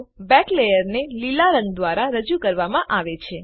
back લેયરને લીલા રંગ દ્વારા રજૂ કરવામાં આવે છે